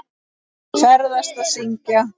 Ferðast og syngja.